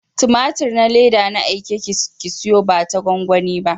Tumatir na leda na aike ki siyowa bata gwangwani ba.